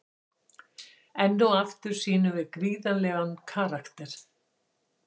Enn og aftur sýnum við gríðarlegan karakter.